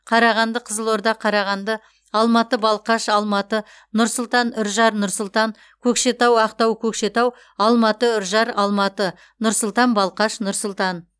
қарағанды қызылорда қарағанды алматы балқаш алматы нұр сұлтан үржар нұр сұлтан көкшетау ақтау көкшетау алматы үржар алматы нұр сұлтан балқаш нұр сұлтан